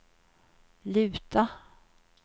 luta